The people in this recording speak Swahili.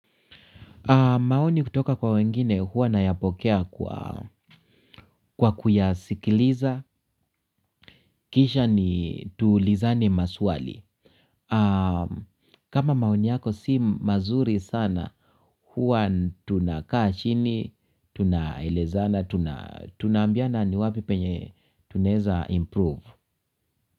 Maoni kutoka kwa wengine, huwa nayapokea kwa kuyasikiliza. Kisha ni tuulizane maswali. Kama maoni yako si mazuri sana, huwa tunakaa chini, tunaelezana, tunaambiana ni wapi penye tunaweza improve.